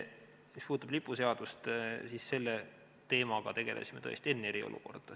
Mis puudutab lipuseadust, siis selle teemaga me tegelesime tõesti enne eriolukorda.